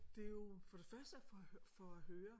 Det er jo for det første for at for at høre